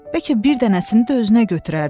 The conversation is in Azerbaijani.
Bəlkə bir dənəsini də özünə götürərdin.